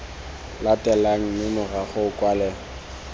latelang mme morago o kwale